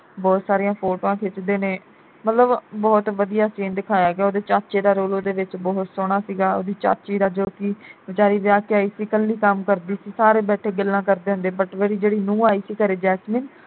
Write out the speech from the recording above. ਬਹੁਤ ਸਾਰੀਆਂ ਫੋਟਵਾ ਖਿੱਚਦੇ ਨੇ ਮਤਲਬ ਬਹੁਤ ਵਧੀਆ scene ਦਿਆਇਆ ਗਿਆ ਉਹਦੇ ਚਾਚੇ ਦਾ role ਉਹਦੇ ਵਿਚ ਬਹੁਤ ਸੋਹਣਾ ਸੀਗਾ ਉਹਦੀ ਚਾਚੀ ਦਾ ਜੋ ਕਿ ਵਿਚਾਰੀ ਵਿਆਹ ਕੇ ਆਈ ਸੀ ਕੱਲੀ ਕੰਮ ਕਰਦੀ ਸੀ ਸਾਰੇ ਬੈਠੇ ਗੱਲਾਂ ਕਰਦੇ ਹੁੰਦੇ but ਉਹਦੀ ਜਿਹੜੀ ਨੂੰਹ ਆਈ ਸੀ ਘਰੇ ਜੈਸਮੀਨ